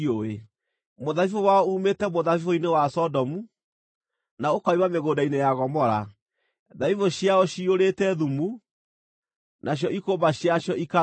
Mũthabibũ wao uumĩte mũthabibũ-inĩ wa Sodomu, na ũkoima mĩgũnda-inĩ ya Gomora. Thabibũ ciayo ciyũrĩte thumu, nacio ikũmba ciacio ikarũra.